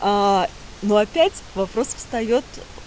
ну опять вопрос встаёт